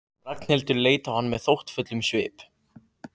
Ragnhildur leit á hann með þóttafullum svip.